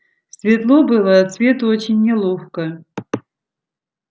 светло было от света очень неловко